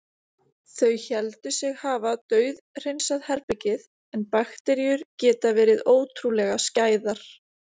Þau héldu sig hafa dauðhreinsað herbergið- en bakteríur geta verið ótrúlega skæðar.